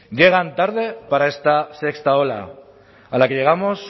llegan tarde para esta sexta ola a la que llegamos